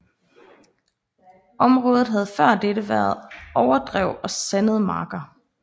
Området havde før dette været overdrev og sandede marker